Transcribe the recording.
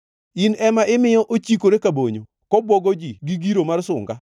In ema imiyo ochikore ka bonyo, kobwogo ji gi giro mar sunga?